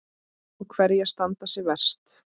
Og hverjar standa sig verst?